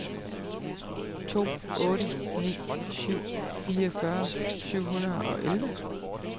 to otte ni syv fireogfyrre syv hundrede og elleve